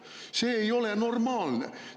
See ei ole normaalne!